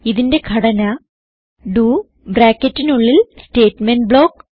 ഇതിന്റെ ഘടന ഡോ ബ്രാക്കറ്റിനുള്ളിൽ സ്റ്റേറ്റ്മെന്റ് ബ്ലോക്ക്